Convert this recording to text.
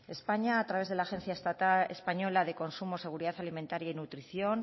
españa a través de la agencia española de consumo seguridad alimentaria y nutrición